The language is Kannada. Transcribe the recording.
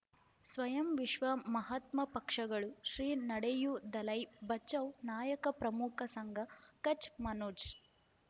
ಸ್ವಯಂ ವಿಶ್ವ ಮಹಾತ್ಮ ಪಕ್ಷಗಳು ಶ್ರೀ ನಡೆಯೂ ದಲೈ ಬಚೌ ನಾಯಕ ಪ್ರಮುಖ ಸಂಘ ಕಚ್ ಮನೋಜ್